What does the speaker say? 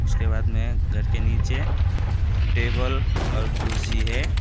उसके बाद में घर के नीचे टेबल और कुर्सी है।